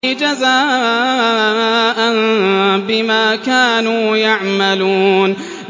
جَزَاءً بِمَا كَانُوا يَعْمَلُونَ